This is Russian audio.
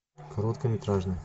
короткометражный